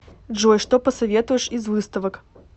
джой что посоветуешь из выставок